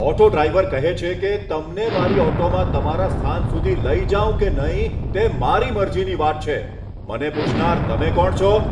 Auto driver કહે છે કે, તમને મારી ઓટોમાં તમારા સ્થાન સુધી લઈ જાઉં કે નહીં તે મારી મરજીની વાત છે, મને પૂછનાર તમે કોણ છો?